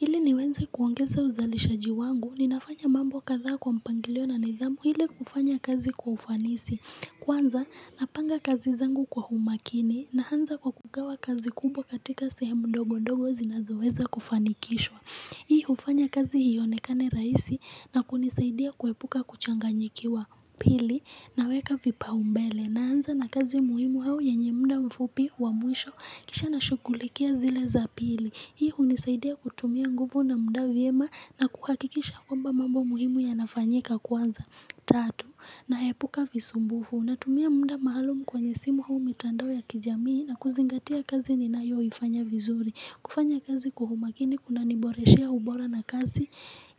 Ili niwenze kuongeza uzalishaji wangu, ninafanya mambo kadhaa kwa mpangilio na nidhamu ili kufanya kazi kwa ufanisi. Kwanza napanga kazi zangu kwa humakini naanza kugawa kazi kubwa katika sehemu ndogo ndogo zinazoweza kufanikishwa. Hii hufanya kazi iyonekane rahisi na kunisaidia kuepuka kuchanganyikiwa pili naweka vipau mbele naanza na kazi muhimu au yenye muda mfupi wa mwisho kisha nashughulikia zile za pili. Hii hunisaidia kutumia nguvu na muda vyema na kuhakikisha kwamba mambo muhimu yanafanyika kwanza. Tatu, naepuka visumbufu. Natumia muda maalum kwenye simu au mitandao ya kijamii na kuzingatia kazi ninayoifanya vizuri. Kufanya kazi kwa humakini kunaniboreshea ubora na kazi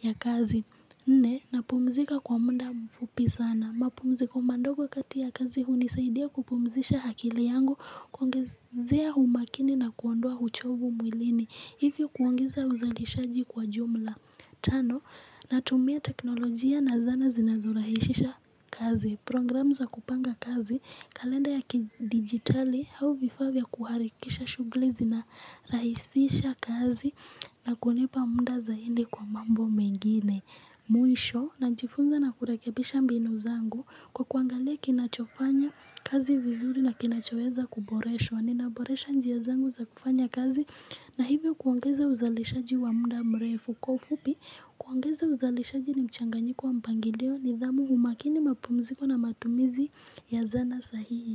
ya kazi. Ne, napumzika kwa muda mfupi sana. Mapumziko mandogo kati ya kazi hunisaidia kupumzisha akili yangu kuongezea umakini na kuondoa uchovu mwilini. Hivyo kuongeza uzalishaji kwa jumla tano na tumia teknolojia na zana zinazorahishisha kazi program za kupanga kazi, kalenda ya kidigitali hau vifavya kuharikisha shughuli na rahisisha kazi na kulepa munda zainde kwa mambo mengine Mwisho na najifunza na kurekebisha mbinu zangu kwa kuangalia kinachofanya kazi vizuri na kinachoweza kuboreshwa ninaboresha njia zangu za kufanya kazi na hivyo kuongeza uzalishaji wa muda mrefu kwa ufupi kuongeza uzalishaji ni mchanganyiko wa mpangilio nidhamu umakini mapumziko na matumizi ya zana sahihi.